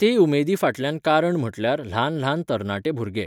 ते उमेदी फाटल्यान कारण म्हटल्यार ल्हान ल्हान तरणाटे भुरगे